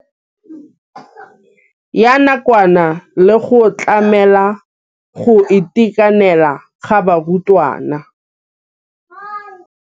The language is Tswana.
Ya nakwana le go tlamela go itekanela ga barutwana.